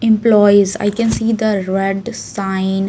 Employees I can see the sign.